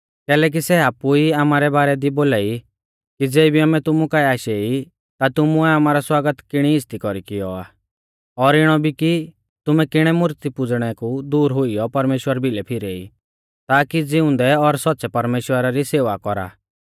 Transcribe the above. कैलैकि सै आपु ई आमारै बारै दी बोलाई कि ज़ेबी आमै तुमु काऐ आशै ई ता तुमुऐ आमारौ स्वागत किणी इज़्ज़ती कौरी कियौ आ और इणौ भी कि तुमै किणै मूर्ती पुज़णै कु दूर हुइयौ परमेश्‍वरा भिलै फिरेई ताकी ज़िउंदै और सौच़्च़ै परमेश्‍वरा री सेवा कौरा